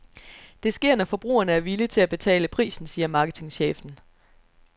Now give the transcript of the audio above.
Det sker, når forbrugerne er villige til at betale prisen, siger marketingschefen.